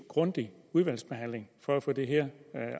grundig udvalgsbehandling for at få det her